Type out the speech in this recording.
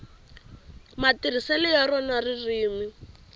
matirhiselo ya rona ririmi